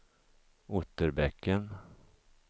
Otterbäcken